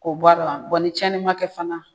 K'o bɔarɔ a bɔn ni cɛni ma kɛ fana